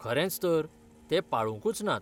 खरेंच तर, ते पाळुकूंच नात.